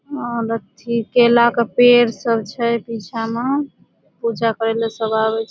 और अथी केला के पेड़ सब छे पीछे मा। पूजा करे ला सब आवी छे।